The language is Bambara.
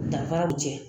Danfara bɛ jɛ